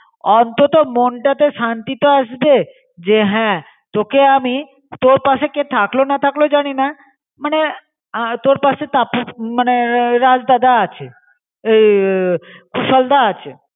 অন্তত মনটাতে শান্তি তো আসবে. জে হন. তোকে আমি তোর পাসে কে থাকল বা না থাকল জানিনা মনে আ তোর পাসে টাপু মনে রাজ দাদা আছে. এই কুশল দা আছে.